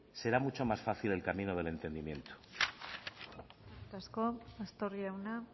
será mucho más fácil el camino del entendimiento eskerrik asko pastor jauna